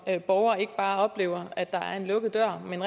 borger ikke bare oplever at der er en lukket dør men